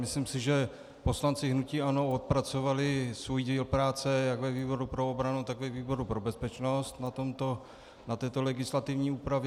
Myslím si, že poslanci hnutí ANO odpracovali svůj díl práce jak ve výboru pro obranu, tak ve výboru pro bezpečnost na této legislativní úpravě.